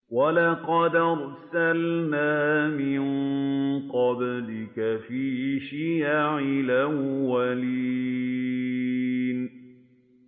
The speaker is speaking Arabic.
وَلَقَدْ أَرْسَلْنَا مِن قَبْلِكَ فِي شِيَعِ الْأَوَّلِينَ